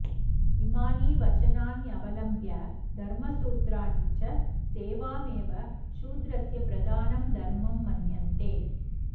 इमानि वचनान्यवलम्ब्य धर्मसूत्राणि च सेवामेव शूद्रस्य प्रधानं धर्म मन्यन्ते